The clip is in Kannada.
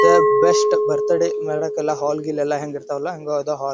ದ ಬೆಸ್ಟ್ ಬರ್ತ್ಡೇ ಮಾಡಕ್ಕೆಲ್ಲಾ ಹಾಲ್ ಗಿಲ್ ಹೆಂಗ್ ಇರತ್ವ್ ಅಲ್ಲಾ ಹಂಗ್ ಅದ್ ಹಾಲ್ --